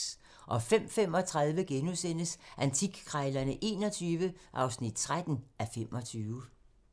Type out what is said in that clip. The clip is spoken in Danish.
05:35: Antikkrejlerne XXI (13:25)*